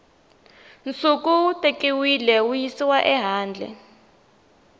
nsuku wu tekiwile wuyisiwa ehandle